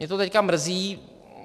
Mě to teď mrzí.